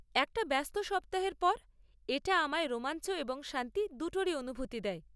একটা ব্যস্ত সপ্তাহের পর এটা আমায় রোমাঞ্চ এবং শান্তি দুটোরই অনুভূতি দেয়।